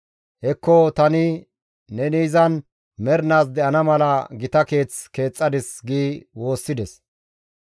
Hekko tani neni izan mernaas de7ana mala gita Keeth keexxadis» gi woossides.